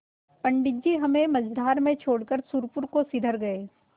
पंडित जी हमें मँझधार में छोड़कर सुरपुर को सिधर गये